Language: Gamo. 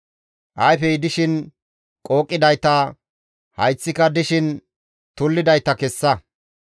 Ayfey dishin qooqidayta, hayththika dishin tullidayta kessa.